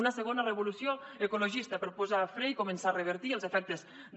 una segona revolució ecologista per posar fre i començar a revertir els efectes de